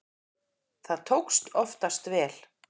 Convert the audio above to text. Það tókst oftast vel.